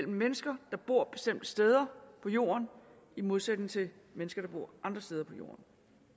mennesker der bor bestemte steder på jorden i modsætning til mennesker der bor andre steder på jorden